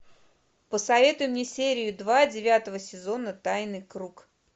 посоветуй мне серию два девятого сезона тайный круг